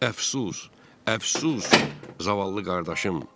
Əfsus, əfsus, zavallı qardaşım.